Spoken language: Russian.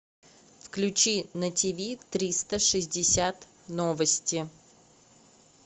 включи на тв триста шестьдесят новости